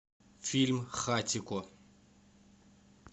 фильм хатико